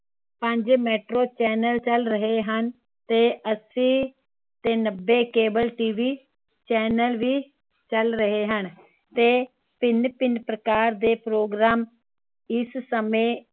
ਪੰਜ metro channel ਚੱਲ ਰਹੇ ਹਨ ਤੇ ਅੱਸੀ ਤੇ ਨੱਬੇ cableTV Channel ਵੀ ਚੱਲ ਰਹੇ ਹਨ ਤੇ ਭਿੰਨ ਭਿੰਨ ਪ੍ਰਕਾਰ ਦੇ programme